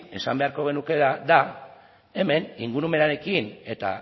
esan beharko genukeena da hemen ingurumenarekin eta